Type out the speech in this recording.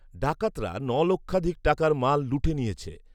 ডাকাতরা ন' লক্ষাধিক টাকার মাল লুটে নিয়েছে